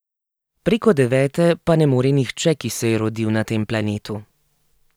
Preko devete pa ne more nihče, ki se je rodil na tem planetu.